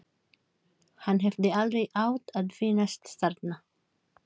Hann hefði aldrei átt að finnast þarna.